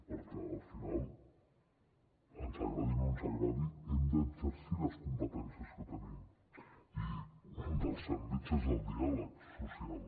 perquè al final ens agradi o no ens agradi hem d’exercir les competències que tenim i un dels àmbits és el diàleg social